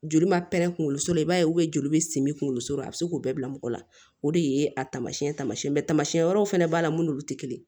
Joli ma pɛrɛn kunkolo la i b'a ye joli simi kunkolo la a bi se k'o bɛɛ bila mɔgɔ la o de ye a taamasiyɛn tama wɛrɛw fɛnɛ b'a la mun n'olu te kelen ye